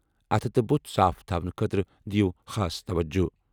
اَتھٕ تہٕ بُتھ صاف تھاونہٕ خٲطرٕ دِیِو خاص توجہٕ۔